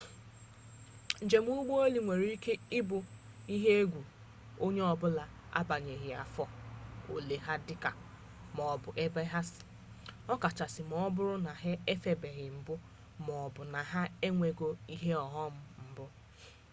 njem ụgbọ elu nwere ike bụ ihe egwu ny onye ọbụla agbanyeghị afọ ole ha dị maobụ ebe ha si ọkachasị ma ọ bụrụ na ha efebeghị mbụ maọbụ na ha enwego ihe ọghọm mbụ